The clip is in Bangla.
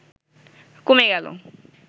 কমে গেল